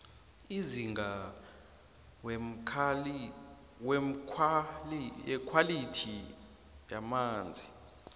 amazinga wekhwalithi yamanzi